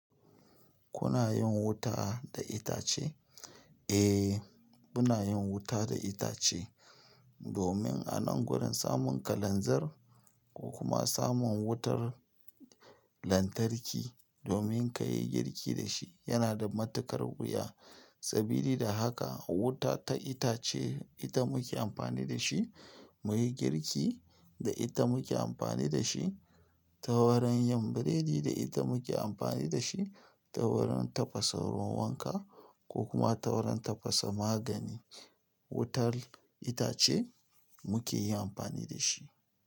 Kuna yin wuta da itace? Eh, muna yin wuta da itace. Domin a nan gurin samun kalanzir ko kuma samun wutar lantarki domin ka yi girki da shi yana da matuƙar wuya. Sabili da haka wuta ta itace ita muke amfani da shi muyi girki da ita muke amfani da shi ta wurin yin burodi, da ita muke amfani da shi taurin tafasa ruwan wanka ko kuma taurin tafasa magani. Wutar itace muke yi amfani da shi.